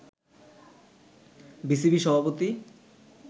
BCB সভাপতি